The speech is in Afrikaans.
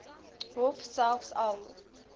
hof selfs al